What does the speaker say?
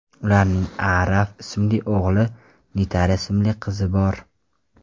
Ularning Aarav ismli o‘g‘li, Nitara ismli qizi bor.